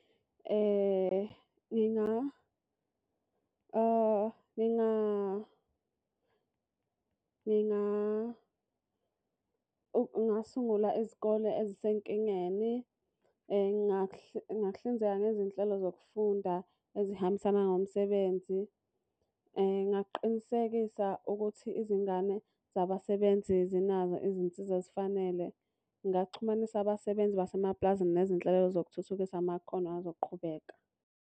Ngingasungula izikole ezisenkingeni. Ngingakuhlinzeka ngezinhlelo zokufunda ezihambisana ngomsebenzi. Ngingaqinisekisa ukuthi izingane zabasebenzi zinazo izinsiza ezifanele. Ngingaxhumanisa abasebenzi basemapulazini nezinhlelo zokuthuthukisa amakhono azoqhubeka.